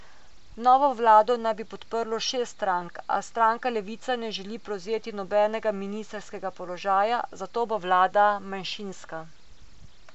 Novo vlado naj bi podprlo šest strank, a stranka Levica ne želi prevzeti nobenega ministrskega položaja, zato bo vlada manjšinska.